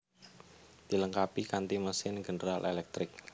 Dilengkapi kanti mesin General Electric